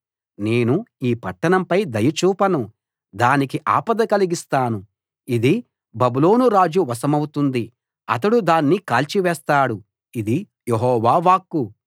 నేను ఈ పట్టణంపై దయ చూపను దానికి ఆపద కలిగిస్తాను ఇది బబులోను రాజు వశమవుతుంది అతడు దాన్ని కాల్చి వేస్తాడు ఇది యెహోవా వాక్కు